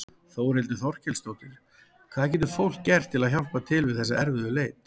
Þórhildur Þorkelsdóttir: Hvað getur fólk gert til að hjálpa til við þessa erfiðu leit?